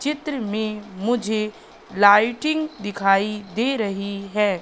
चित्र में मुझे लाइटिंग दिखाई दे रही है।